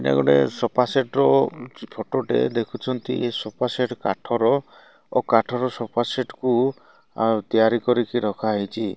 ଏଟା ଗୋଟେ sofa set ର ଫଟୋ ଟେ ଦେଖୁଛନ୍ତି। ଏ ସୋଫା ସେଟ୍ କାଠର ଓ କାଠର ସୋଫା ସେଟ୍ କୁ ତିଆରି କରିକି ରଖାହେଇଚି।